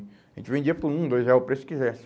A gente vendia por um, dois real, o preço que quisesse.